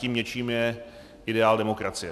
Tím něčím je ideál demokracie.